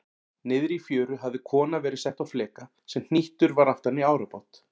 Niðri í fjöru hafði kona verið sett á fleka sem hnýttur var aftan í árabát.